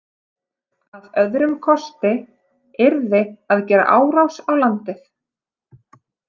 Að öðrum kosti yrði að gera árás á landið.